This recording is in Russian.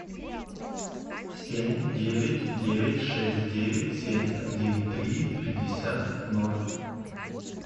семь девять девять шесть девять семь один три пятьдесят ноль